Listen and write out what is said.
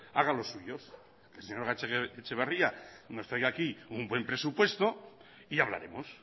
hagan los suyos el señor gatzagaetxebarria que nos traiga aquí un buen presupuesto y ya hablaremos